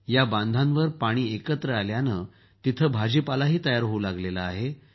या बांधांवर पाणी एकत्र आल्यानं तिथं भाजीपालाही तयार होऊ लागला आहे